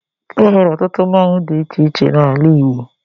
E nwere ọtụtụ mmonwu dị iche iche n'ala Igbo